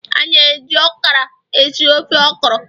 a na-eji okra esi ofe okra